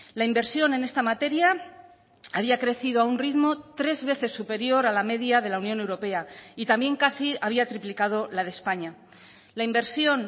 la inversión en esta materia había crecido a un ritmo tres veces superior a la media de la unión europea y también casi había triplicado la de españa la inversión